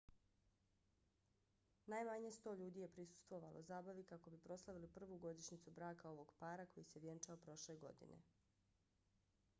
najmanje 100 ljudi je prisustvovalo zabavi kako bi proslavili prvu godišnjicu braka ovog para koji se vjenčao prošle godine